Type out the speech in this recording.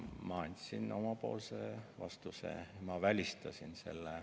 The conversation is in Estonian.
Ma andsin oma vastuse, ma välistasin selle.